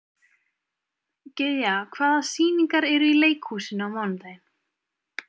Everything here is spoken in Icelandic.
Gyðja, hvaða sýningar eru í leikhúsinu á mánudaginn?